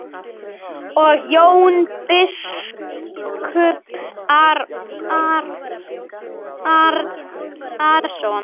Og Jón biskup Arason.